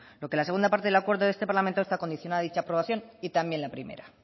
lo que la segunda parte del acuerdo del este parlamento está condicionada a dicha aprobación y también la primera